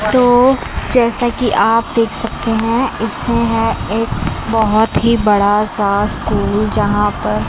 तो जैसा कि आप देख सकते हैं इसमें है एक बहोत ही बड़ा सा स्कूल जहां पर--